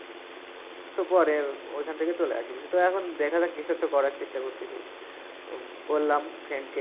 তো পরে ঐ খান থেকে চলে আসি। তো এখন দেখা যাক কিছু একটা করার চেষ্টা করতেসি। উম বললাম friend -কে।